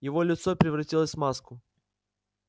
его лицо превратилось в маску